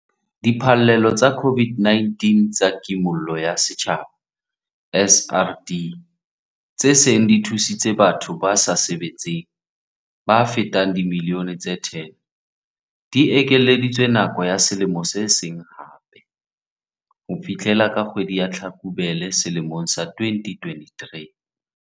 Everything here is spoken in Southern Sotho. Diphallelo tsa COVID-19 tsa Kimollo ya Setjhaba, SRD, tse seng di thusitse batho ba sa sebetseng ba fetang dimilione tse 10, di ekeleditswe nako ya selemo se seng hape - ho fihlela ka kgwedi ya Tlhakubele selemong sa 2023.